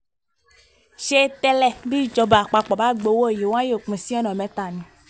ṣé tẹ́lẹ̀ bíjọba àpapọ̀ bá gba owó yìí wọn yóò pín in sí ọ̀nà mẹ́ta ni